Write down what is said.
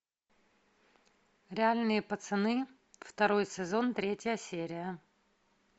реальные пацаны второй сезон третья серия